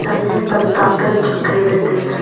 chatley tamta pan chu keiley tailey.